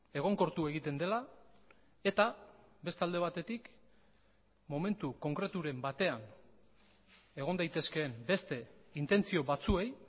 egonkortu egiten dela eta beste alde batetik momentu konkreturen batean egon daitezkeen beste intentzio batzuei